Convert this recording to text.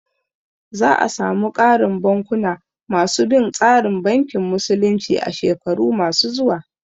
Za a samu ƙarin bankuna ma su bin tsarin bankin musulunci a shekaru ma su zuwa